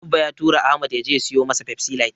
Abba ya tura Ahmad ya je ya siyo masa Pepsi light.